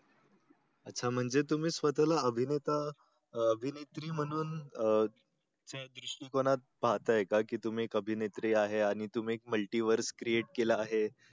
अच्छा म्हणजे तुम्ही स्वताला अभिनेता अह अभिनेत्री म्हणून अह त्या दृष्टिकोनातून पाहताय का तुम्ही एक अभिनेत्री आहे आणि तुम्ही एक multi words create केल आहे